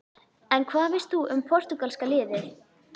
En hvað veist þú um Portúgalska-liðið?